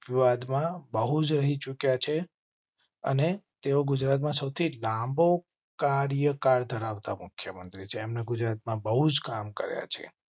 વાત માં બહુ જ રહી ચૂક્યા છે અને તેઓ ગુજરાતમાં સૌથી લાંબો કાર્યકાળ ધરાવતા મુખ્ય મંત્રી છે. તેમણે ગુજરાતમાં બહુજ કામ કર્યા છે.